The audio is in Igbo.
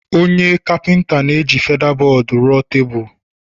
onye Kapịnta na-eji feda-bọọdụ rụọ tebụl